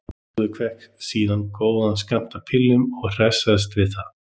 Lúðvík fékk síðan góðan skammt af pillum og hresstist við það.